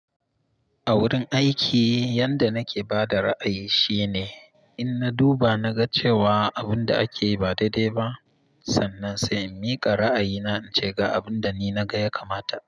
A wurin aiki yanda nake ba da ra'ayi shine in na duba na ga cewa abun da ake yi ba daidai ba, sannan sai in mika ra'ayina in ce ga abun da ni na ga ya kamata.